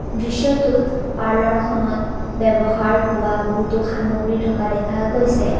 দৃশ্যটোত পাৰ্লাৰ খনত বেৱ্যহাৰ হোৱা বহুতো সামগ্ৰী থকা দেখা গৈছে।